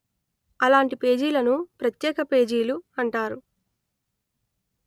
అలాంటి పేజీలను ప్రత్యేక పేజీలు అంటారు